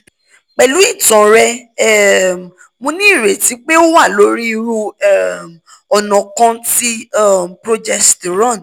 pẹ̀lú ìtàn rẹ um mo ní ìrètí pé o wà lórí irú um ọ̀nà kan ti um progesterone